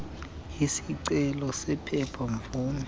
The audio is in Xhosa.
isicelo sephepha mvume